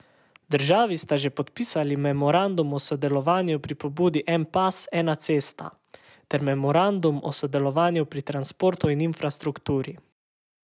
Državi sta že podpisali memorandum o sodelovanju pri pobudi En pas, ena cesta ter memorandum o sodelovanju pri transportu in infrastrukturi.